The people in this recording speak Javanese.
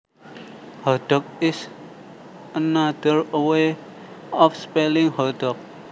Hotdog is another way of spelling hot dog